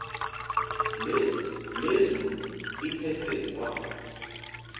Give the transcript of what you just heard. lezulu liphethwe kwa